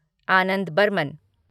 Anand Burman